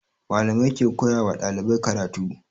Malamai ke koya wa ɗalibai karatu